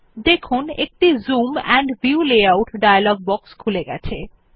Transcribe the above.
দেখুন একটি zoom and view layout dialog box খুলে গেছে